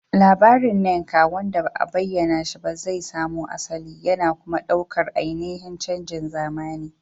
Labarin Nneka wanda ba a bayyana shi ba zai samo asali, yana kuma ɗaukar ainihin canjin zamani.